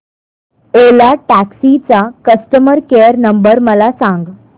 ओला taxi चा customer care number मला सांग